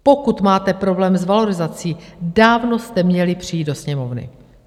Pokud máte problém s valorizací, dávno jste měli přijít do Sněmovny.